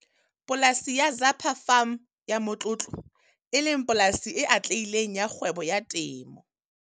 Polasi ya Zapa Farm ya motlotlo, e leng polasi e atlehileng ya kgwebo ya temo.